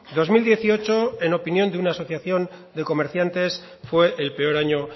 dos mil dieciocho en opinión de una asociación de comerciantes fue el peor año